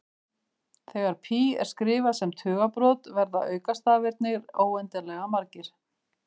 Þegar pí er skrifað sem tugabrot verða aukastafirnir óendanlega margir.